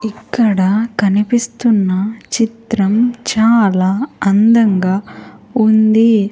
ఇక్కడ కనిపిస్తున్న చిత్రం చాలా అందంగా ఉంది.